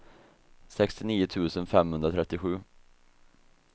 sextionio tusen femhundratrettiosju